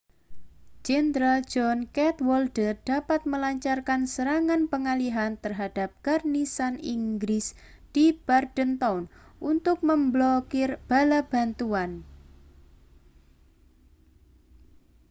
jenderal john cadwalder dapat melancarkan serangan pengalihan terhadap garnisun inggris di bordentown untuk memblokir bala bantuan